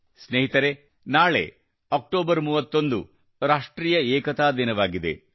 ಸ್ನೇಹಿತರೇ ನಾಳೆ ಅಕ್ಟೋಬರ್ 31 ರಾಷ್ಟ್ರೀಯ ಏಕತಾ ದಿನವಾಗಿದೆ